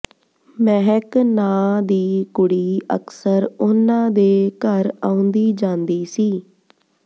ਮਹਿਕ ਨਾਂ ਦੀ ਕੁੜੀ ਅਕਸਰ ਉਨ੍ਹਾਂ ਦੇ ਘਰ ਆਉਂਦੀ ਜਾਂਦੀ ਸੀ